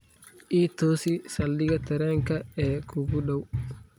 i toosi saldhigga tareenka ee kuugu dhow